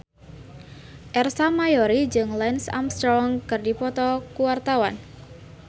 Ersa Mayori jeung Lance Armstrong keur dipoto ku wartawan